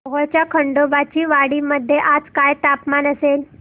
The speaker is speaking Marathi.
मोहोळच्या खंडोबाची वाडी मध्ये आज काय तापमान असेल